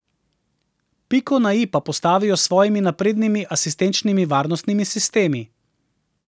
Piko na I pa postavljajo s svojimi naprednimi asistenčnimi varnostnimi sistemi.